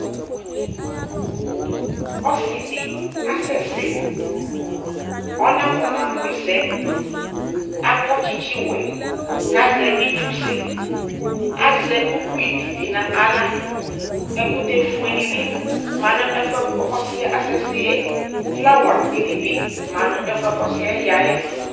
Ɔsi di asɛsɛ, ɔnakɔnamʋ ɛsɛ Akɔ tsitsi wɛ kʋ azɛ itsusɛ Azɛ ukpi di bi n'aɣla Ɛkʋtɛ fue di bi ma nʋ ɛfuɛ kʋ ɔsi yɛ asɛsɛ yɛ Flawa di ni bi ma nʋ ɛfuɛ kʋ ɔsi yɛ yayɛ